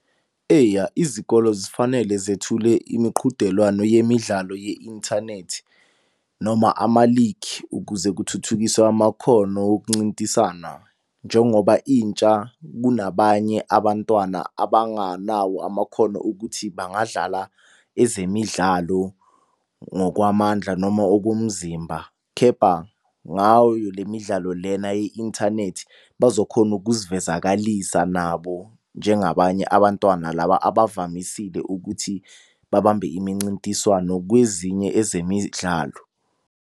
Eya izikolo zifanele zethule imiqhudelwano yemidlalo ye-inthanethi noma ama-league ukuze kuthuthukiswe amakhono okuncintisana. Njengoba intsha kunabanye abantwana abanganawo amakhono okuthi bangadlala ezemidlalo ngokwamandla noma okomzimba. Kepha ngayo le midlalo lena ye-inthanethi bazokhona ukuzivezakalisa nabo njengabanye abantwana laba abavamisile ukuthi babambe imincintiswano kwezinye ezemidlalo.